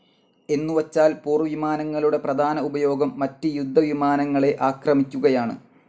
എന്നുവച്ചാൽ പോർവിമാനങ്ങളുടെ പ്രധാന ഉപയോഗം മറ്റ് യുദ്ധ വിമാനങ്ങളെ ആക്രമിക്കുകയാണ്.